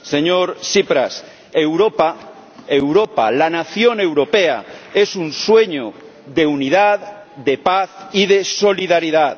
Señor Tsipras, Europa, la nación europea, es un sueño de unidad, de paz y de solidaridad.